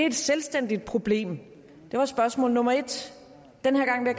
et selvstændigt problem det var spørgsmål nummer en og den her gang vil